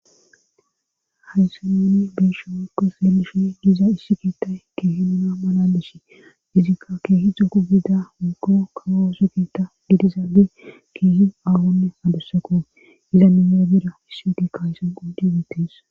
haryssa nunni beesho muppo eelishin diza issi kiittay keehi muna mala bishi dizikka keehi dzoku giida mukro kawooso giitta gidizaabe keehi awonne adusako iza nimabera hissuti kahahysson uddi wuittes